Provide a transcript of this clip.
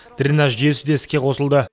дренаж жүйесі де іске қосылды